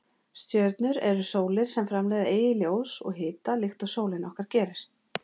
Stjörnur eru sólir sem framleiða eigið ljós og hita líkt og sólin okkar gerir.